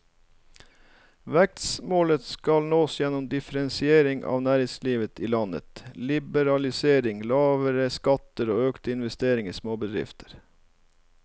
Vekstmålet skal nås gjennom differensiering av næringslivet i landet, liberalisering, lavere skatter og økte investeringer i småbedrifter.